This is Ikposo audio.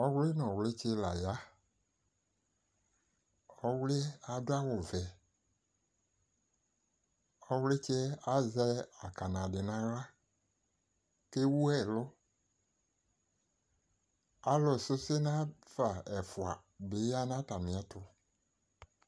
Ɔwlɩ nʋ ɔwlɩtsɩ la ya Ɔwlɩ yɛ adʋ awʋvɛ Ɔwlɩtsɩ yɛ azɛ akana dɩ nʋ aɣla kʋ ewu ɛlʋ Alʋsʋsɩ nafa ɛfʋa bɩ ya nʋ atamɩɛtʋ